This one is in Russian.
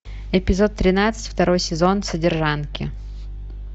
эпизод тринадцать второй сезон содержанки